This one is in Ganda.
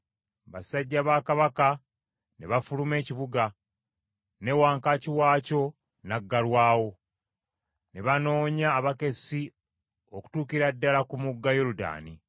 Basajja ba kabaka ne bafuluma ekibuga ne wankaaki waakyo naggalwawo. Ne banoonya abakessi okutuukira ddala ku mugga Yoludaani.